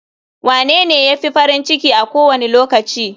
Wanene ya fi farin ciki a kowane lokaci?